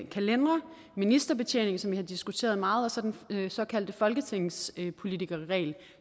kalendere ministerbetjening som vi har diskuteret meget og så den såkaldte folketingspolitikerregel